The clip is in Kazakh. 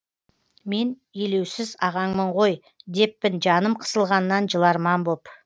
мен елеусіз ағаңмын ғой деппін жаным қысылғаннан жыларман боп